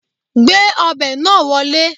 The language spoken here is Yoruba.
Gbé ọbẹ̀ náà wọlé